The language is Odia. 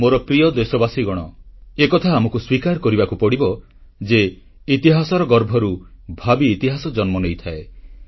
ମୋର ପ୍ରିୟ ଦେଶବାସୀଗଣ ଏକଥା ଆମକୁ ସ୍ୱୀକାର କରିବାକୁ ପଡ଼ିବ ଯେ ଇତିହାସର ଗର୍ଭରୁ ଭାବି ଇତିହାସ ଜନ୍ମ ନେଇଥାଏ